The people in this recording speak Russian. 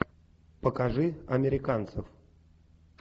покажи американцев